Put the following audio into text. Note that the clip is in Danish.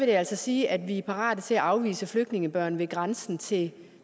det altså sige at vi er parate til at afvise flygtningebørn ved grænsen til